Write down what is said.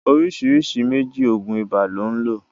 oríṣiríṣi méjì oògùn ibà lón lo.